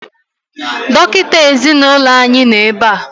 Dọkịta ezinaụlọ anyị nọ ebea